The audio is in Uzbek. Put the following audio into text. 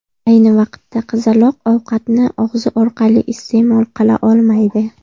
Ayni vaqtda qizaloq ovqatni og‘zi orqali iste’mol qila olmaydi.